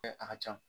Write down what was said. A ka ca